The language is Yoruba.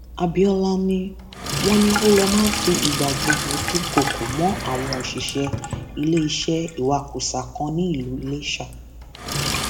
abiola ni wọn ní ó lọ máa ń fi ìgbà gbogbo dúnkookò mọ àwọn òṣìṣẹ iléeṣẹ ìwakùsà kan nílùú iléṣà